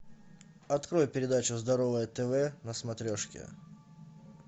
открой передачу здоровое тв на смотрешке